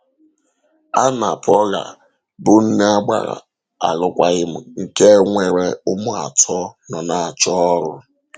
Ànna-Paula, bụ́ nne agbàrà alụkwàghịm nke nwere ụmụ atọ, nọ na-achọ ọrụ.